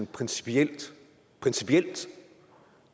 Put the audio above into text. principielt principielt